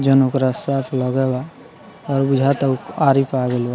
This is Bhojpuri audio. जोवन उपरा साफ लागेला और बुझाता उ आरी पे आ गइल बा।